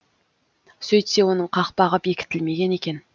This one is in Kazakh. сөйтсе оның қақпағы бекітілмеген екен